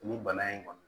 Nin bana in kɔni